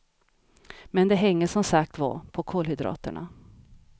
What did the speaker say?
Men det hänger som sagt var på kolhydraterna.